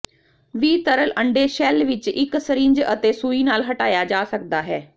ਵੀ ਤਰਲ ਅੰਡੇ ਸ਼ੈੱਲ ਵਿੱਚ ਇੱਕ ਸਰਿੰਜ ਅਤੇ ਸੂਈ ਨਾਲ ਹਟਾਇਆ ਜਾ ਸਕਦਾ ਹੈ